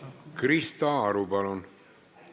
Krista Aru, palun!